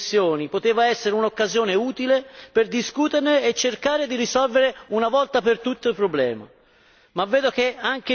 Forse questa delle concessioni poteva essere un'occasione utile per discuterne e cercare di risolvere una volta per tutte il problema.